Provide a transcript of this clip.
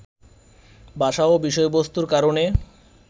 ভাষা ও বিষয়বস্তুর কারণে